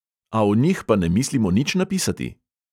A o njih pa ne mislimo nič napisati?!